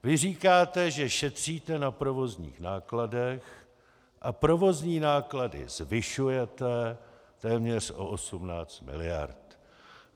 Vy říkáte, že šetříte na provozních nákladech, a provozní náklady zvyšujete téměř o 18 mld..